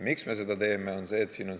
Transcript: Miks me seda teeme?